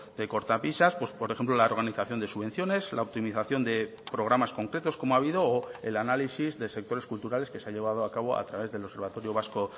de cortapisas pues por ejemplo la organización de subvenciones la optimización de programas concretos como ha habido o el análisis de sectores culturales que se ha llevado a cabo a través del observatorio vasco